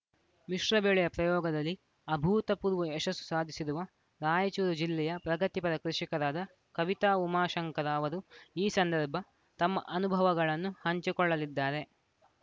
ಮಿಶ್ರ ಬೆಳೆಯ ಪ್ರಯೋಗದಲ್ಲಿ ಅಭೂತಪೂರ್ವ ಯಶಸ್ಸು ಸಾಧಿಸಿರುವ ರಾಯಚೂರು ಜಿಲ್ಲೆಯ ಪ್ರಗತಿಪರ ಕೃಷಿಕರಾದ ಕವಿತಾ ಉಮಾಶಂಕರ ಅವರು ಈ ಸಂದರ್ಭ ತಮ್ಮ ಅನುಭವಗಳನ್ನು ಹಂಚಿಕೊಳ್ಳಲಿದ್ದಾರೆ